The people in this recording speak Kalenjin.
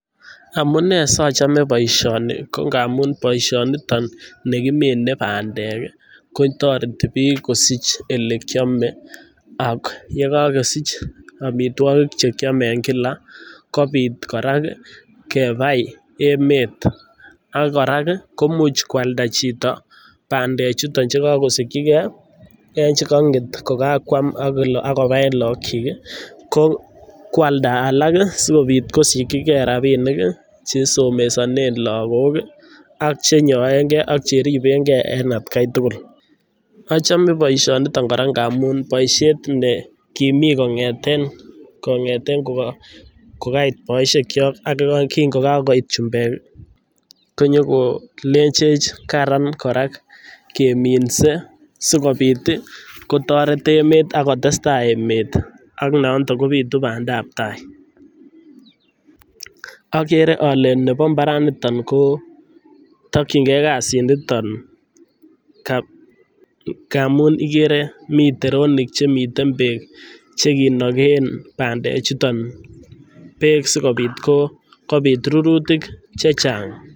Amunee sochome boisioni ko ngamun boishoniton nekimine pandek ko kotoreti bik kosich ele kiome ak yekokosich omitwokik chekiome en kila kobit koraa kebai emet. ak korak kii ko imuch koalda chito pandek chuton chekokosikyi gee en chekonget kokakwam ak kole kobaen look chik kyik ko kwalda alak ih sikopti kosikyi gee rabinik chesomesonen lagok ih ak chenyoen gee ak cheriben gee en atgai tukul. ochome boishoniton ngamun boishet ne kimii kongeten kongeten koka kokait boishek kyok ak yekai kin kokakoit chumbek ih konyo kolenchech karan koraa keminse sikopit ih kotoret emet ak kotestai emet ak nondo kobitu pandap tai. Okere ole nebo mbaraniton koo tokyin gee kasit niton ka ngamun mii teronik chekinogen pandek chuton beek sikopit ko kopit rurutik chechang.